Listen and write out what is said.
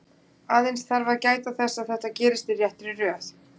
Aðeins þarf að gæta þess að þetta gerist í réttri röð.